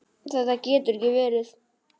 Þetta getur ekki verið.